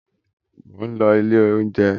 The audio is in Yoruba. Mo ń lọ ilé oúnjẹ